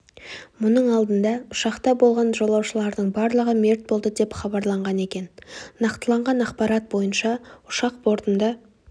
мұның алдында ұшақта болған жолаушылардың барлығы мерт болды деп хабарланған екен нақтыланған ақпарат бойынша ұшақ бортында